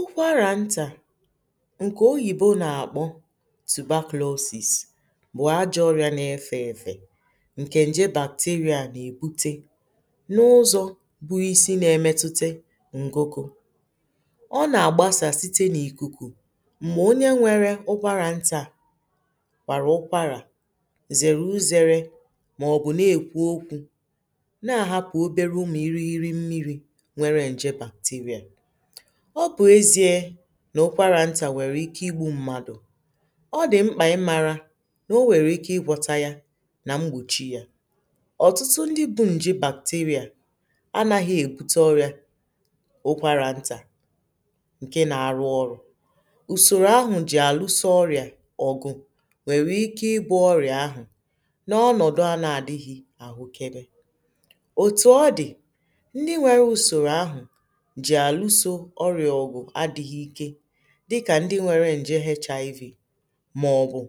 ụkwarà ntà nke oyìbo nà-àkpọ tuberculosis bụ̀ ajọ̇ ọrịà na-efė ewè nke ǹje bacteria nà-èbute n’ụzọ̀ buis na-emetutè ngogo ọ nà-àgbasà site n’ìkuku m̀gbè onye nwere ụkwarà ntà kwàrà ụkwarà zèrè uzėrė màọ̀bụ̀ na-èkwu okwu̇ na-àhapụ̀ obere umu̇ iri iri mmiri̇ nà ụkwarà ntà nwèrè ike igbu̇ mmadụ̀ ọ dị̀ mkpà ị mara nà o nwèrè ike igwọtȧ yȧ nà mgbòchi yȧ ọ̀tụtụ ndị bu̇ ǹjì bàpùtirìà anaghị̇ èbute ọrị̀ȧ n’okwarà ntà ǹke nà-àrụ ọrụ̇ ùsòrò ahụ̀ jì àlụsȧ ọrị̀à ọgụ nwèrè ike igbu̇ ọrị̀à ahụ̀ n’ọnọ̀dụ anȧ àdịghị̇ àhụkidi òtù ọ dị̀ ndị nwere ùsòrò ahụ̀ dịkà ndị nwere ǹje hiv màọ̀bụ̀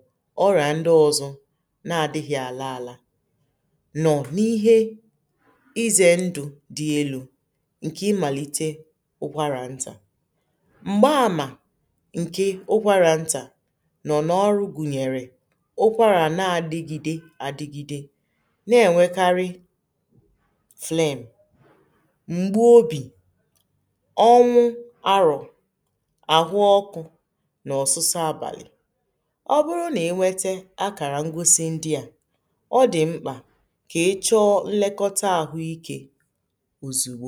ọrìà ndị ọ̇zụ̇ na-adịghị̇ àla àla nọ̀ n’ihe ịzė ndụ̇ dị elu̇ ǹkè imàlite ụkwarà ntà m̀gba àmà ǹke ụkwarà ntà nọ̀ n’ọrụ gùnyèrè ụkwarà na-adigide adigide na-enwekarị flem àhụọkụ̇ n’ọ̀sụsụ àbàlị̀ ọ bụrụ nà ẹnwẹtẹ akàrà ngosi ndị à ọ dị̀ mkpà kà ị chọọ nlekọta àhụ ikė òzùgbo